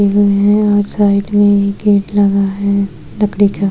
और साइड मे एक गेट लगा है लकड़ी का।